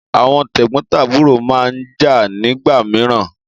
Àwọn tẹ́gbọ́ntàbúrò máa ń jà nígbà mìíràn.